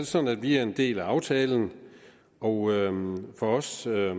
sådan at vi er en del af aftalen og for os er